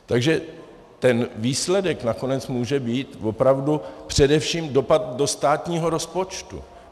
Takže ten výsledek nakonec může být opravdu především dopad do státního rozpočtu.